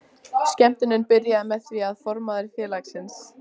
Skemmtunin byrjaði með því að formaður félagsins